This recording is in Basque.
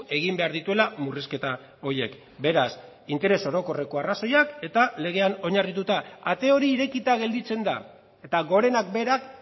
egin behar dituela murrizketa horiek beraz interes orokorreko arrazoiak eta legean oinarrituta ate hori irekita gelditzen da eta gorenak berak